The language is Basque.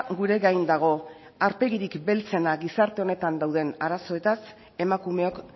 gure gain dago aurpegirik beltzena gizarte honetan dauden arazoetaz emakumeok